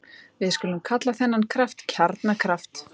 Við skulum kalla þennan kraft kjarnakraft.